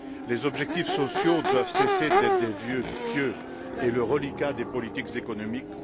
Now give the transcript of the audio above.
Les objectifs sociaux doivent cesser d´être des vœux pieux et le reliquat des politiques économiques